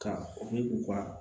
Ka u ka